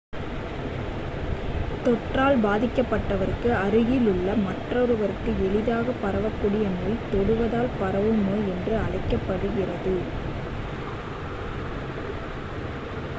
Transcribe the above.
தொற்றால் பாதிக்கப்பட்டவருக்கு அருகில் உள்ள மற்றொருவருக்கு எளிதாகப் பரவகூடிய நோய் தொடுவதால் பரவும் நோய் என்று அழைக்கப்படுகிறது